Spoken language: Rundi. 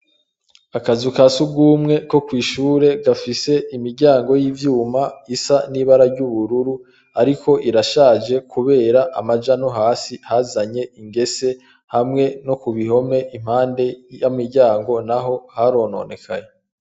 Akazu kasugumwe ko kw'ishure gafise imiryango y'ivyuma isa n'ibara ry'ubururu, ariko irashaje kubera amaja no hasi hazanye ingese, hamwe nokubihome impande y'imiryango naho harononekaye.